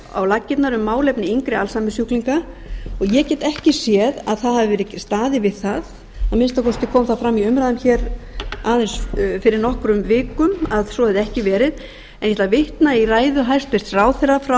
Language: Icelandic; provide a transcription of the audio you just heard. á laggirnar um málefni yngri alzheimersjúklinga ég get ekki séð að staðið hafi verið við það að minnsta kosti kom það fram í umræðum fyrir nokkrum vikum að svo hefði ekki verið ég ætla að vitna í ræðu hæstvirts ráðherra frá